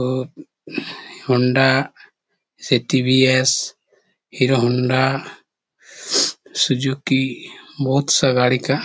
हो Honda TVS. Hero Honda Suzuki बहुत सा गाड़ी का--